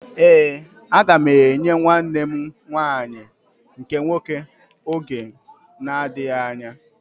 Éè, aga m enwe nwa nwanne m nwanyị nke nwoke oge na-adịghị anya